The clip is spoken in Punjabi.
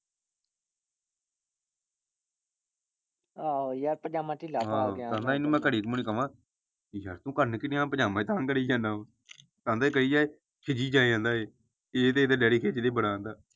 ਆਹੋ ਯਾਰ ਪਜਾਮਾ ਢਿੱਲਾ ਘੜੀ ਮੁੜੀ ਕਵਾ ਕੀ ਯਾਰ ਤੂੰ ਕਰਨ ਕਿ ਡੇਆ ਪਜਾਮਾ ਹੀ ਤਾਹ ਕਰਿ ਜਾਣਾ ਵਾ ਕਹੀ ਜਾਏ ਇਹ ਤੇ ਇਹਦਾ ਡੈਡੀ ਖਿਜਦੇ ਬੜਾ ਆਂਦਾ।